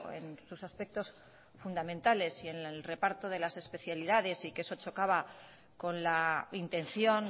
en sus aspectos fundamentales y en el reparto de las especialidades y que eso chocaba con la intención